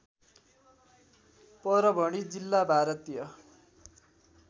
परभणी जिल्ला भारतीय